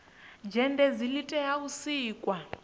zhenedzi li tea u sikwa